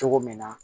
Cogo min na